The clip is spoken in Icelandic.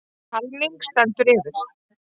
Talning stendur yfir.